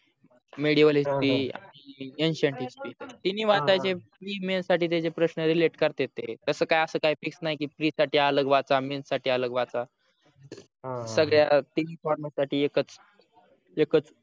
medial historyancient history तिन्ही वाचाचे pre men साठी त्याचे प्रश्न relate करते ते तस काय अस काय fix नाही की free साठी अलग वाचा men साठी अलग वाचा सगळ्या तिन्ही from साठी एकच